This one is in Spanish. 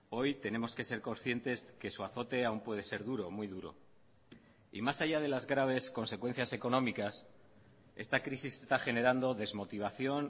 hoy tenemos que ser conscientes que su azote aún puede ser duro muy duro y más allá de las graves consecuencias económicas esta crisis está generando desmotivación